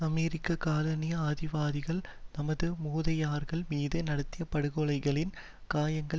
அமெரிக்க காலனி ஆதிவாதிகள் நமது மூதாதையர்கள் மீது நடத்திய படுகொலைகளின் காயங்கள்